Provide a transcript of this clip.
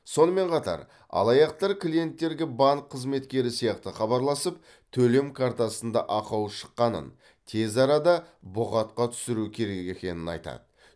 сонымен қатар алаяқтар клиенттерге банк қызметкері сияқты хабарласып төлем картасында ақау шыққанын тез арада бұғатқа түсіру керек екенін айтады